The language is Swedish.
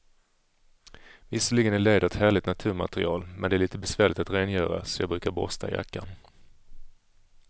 Visserligen är läder ett härligt naturmaterial, men det är lite besvärligt att rengöra, så jag brukar borsta jackan.